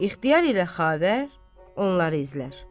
İxtiyar ilə Xavər onları izlər.